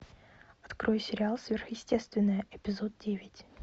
открой сериал сверхъестественное эпизод девять